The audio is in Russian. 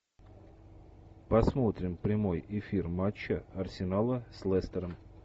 посмотрим прямой эфир матча арсенала с лестером